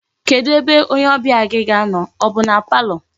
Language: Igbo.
Kedu ebe onye obia gi ga-ano, o bu na palọ?